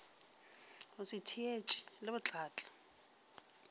go se theetše le botlatla